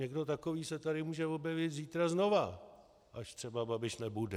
Někdo takový se tady může objevit zítra znova, až třeba Babiš nebude.